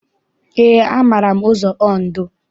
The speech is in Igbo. Eé, amaara m ụzọ Ondo.